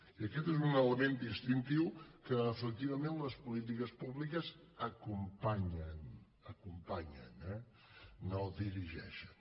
i aquest és un element distintiu a què efectivament les polítiques públiques acompanyen acompanyen eh no dirigeixen